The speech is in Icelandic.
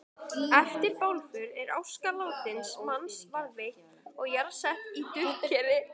Eftir bálför er aska látins manns varðveitt og jarðsett í duftkeri.